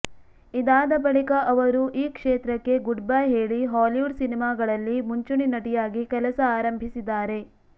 ಇದಾದ ಬಳಿಕ ಅವರು ಈ ಕ್ಷೇತ್ರಕ್ಕೆ ಗುಡ್ ಬೈ ಹೇಳಿ ಹಾಲಿವುಡ್ ಸಿನಿಮಾಗಳಲ್ಲಿ ಮುಂಚೂಣಿ ನಟಿಯಾಗಿ ಕೆಲಸ ಆರಂಭಿಸಿದ್ದಾರೆ